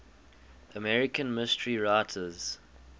american mystery writers